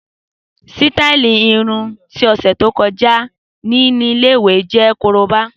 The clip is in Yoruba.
Sítàálí irun ti ọsẹ to kọja ni ile-iwe jẹ koroba.